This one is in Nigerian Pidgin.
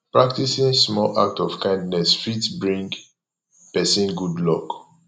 practicing small act of kindness fit bring persin good luck